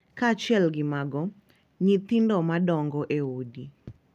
Kaachiel gi mago, nyithindo madongo e udi .